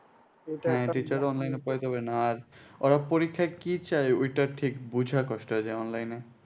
হ্যাঁ teacher রাও online এ পড়াইতে পারে না আর ওরা পরীক্ষায় কি চায় ওইটা ঠিক বোঝা কষ্ট হয়ে যায় online এ